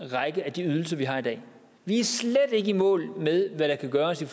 række af de ydelser vi har i dag vi er slet ikke i mål med hvad der kan gøres i